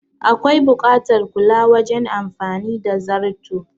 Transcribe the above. Akwai buƙatar kula wajen amfani da zarto